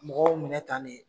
Mɔgɔw minɛ tan de